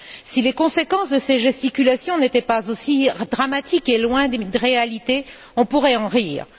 Si les conséquences de ces gesticulations n'étaient pas aussi dramatiques et éloignées de la réalité, on pourrait en rire.